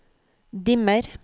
dimmer